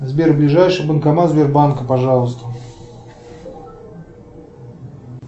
сбер ближайший банкомат сбербанка пожалуйста